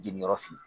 Jeli yɔrɔ fin